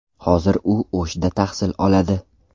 Hozir u O‘shda tahsil oladi.